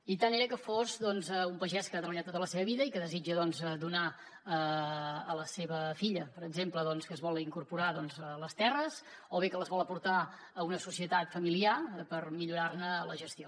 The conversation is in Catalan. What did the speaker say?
i tant era que fos doncs un pagès que ha treballat tota la seva vida i que desitja donar a la seva filla per exemple que es vol incorporar a les terres o bé que les vol aportar a una societat familiar per millorar ne la gestió